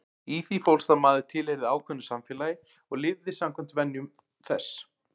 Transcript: Í því fólst að maður tilheyrði ákveðnu samfélagi og lifði samkvæmt venjum þess.